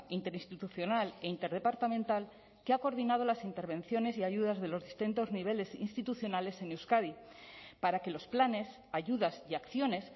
interinstitucional e interdepartamental que ha coordinado las intervenciones y ayudas de los distintos niveles institucionales en euskadi para que los planes ayudas y acciones